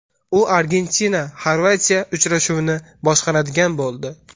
U ArgentinaXorvatiya uchrashuvini boshqaradigan bo‘ldi.